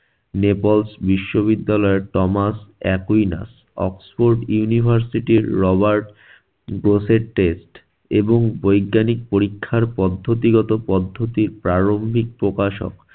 neples বিশ্ববিদ্যালয়ের Thomas Aquinas. oxford university এর robert এবং বৈজ্ঞানিক পরীক্ষার পদ্ধতিগত পদ্ধতি প্রারম্ভিক প্রকাশক